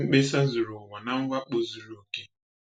Mkpesa zuru ụwa na mwakpo zuru oke.